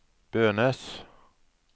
Bønes